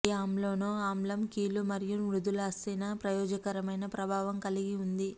ఈ అమైనో ఆమ్లం కీళ్ళు మరియు మృదులాస్థి న ప్రయోజనకరమైన ప్రభావం కలిగి ఉంది